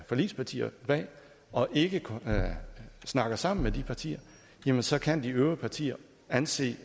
forligspartier bag og ikke snakker sammen med de partier så kan de øvrige partier anse